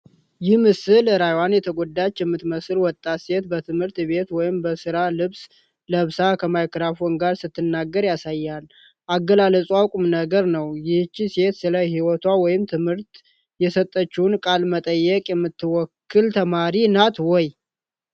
ይህ ምስል ራዕይዋ የተጎዳች የምትመስል ወጣት ሴት፣ በትምህርት ቤት ወይም በሥራ ልብስ ለብሳ፣ ከማይክሮፎን ጋር ስትናገር ያሳያል። አገላለጽዋ ቁምነገር ነው። ይህች ሴት ስለ ህይወቷ ወይም ትምህርቷ የሰጠችውን ቃለ መጠይቅ የምትወክል ተማሪ ናት ወይ?